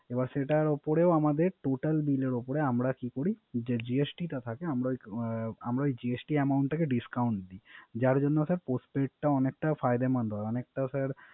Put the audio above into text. আবার সেটার উপরে Total বিলের উপর আমারা কি করি GJT টা থাকা আমরা ও ই GJT amount টাকে Discount দি। যার জন্ Postpaid অনেকটা Findamand হয়